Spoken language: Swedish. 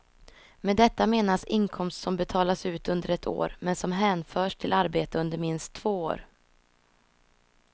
Med detta menas inkomst som betalas ut under ett år, men som hänförs till arbete under minst två år.